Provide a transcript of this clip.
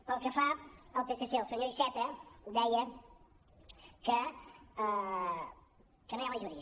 pel que fa al psc el senyor iceta deia que no hi ha majoria